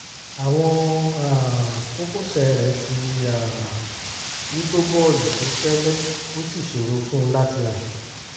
àwọn um kókósẹ̀ rẹ̀ ti um wú tó bọ́ọ̀lù tó fẹ́lẹ́ ó sì ṣòro fún un láti rìn